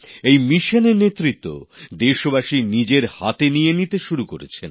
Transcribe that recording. এই অভিযানের নেতৃত্ব দেশবাসী নিজের হাতে নিয়ে নিতে শুরু করেছেন